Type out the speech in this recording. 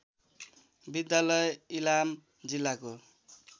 विद्यालय इलाम जिल्लाको